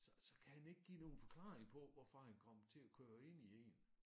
Så så kan han ikke give nogen forklaring på hvorfor han kom til at køre ind i én